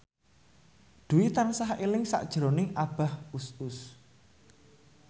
Dwi tansah eling sakjroning Abah Us Us